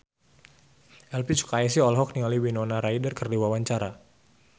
Elvi Sukaesih olohok ningali Winona Ryder keur diwawancara